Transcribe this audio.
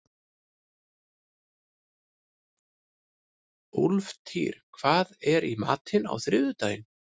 Úlftýr, hvað er í matinn á þriðjudaginn?